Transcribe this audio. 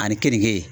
Ani kenige